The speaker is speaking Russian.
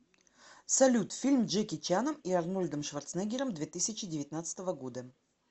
салют фильм джеки чаном и арнольдом шварценеггером две тысячи девятнадцатого года